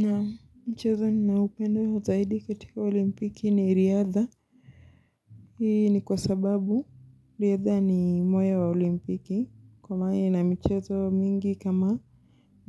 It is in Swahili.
Naam mchezo ninaoupendo zaidi katika olimpiki ni riadha. Hii ni kwa sababu riadha ni moyo wa olimpiki. Kwa maana ina michezo mingi kama